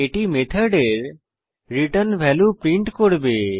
এটি মেথডের return value print করবে